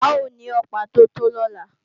A ó ní Ọ̀pá tó tó lọ́la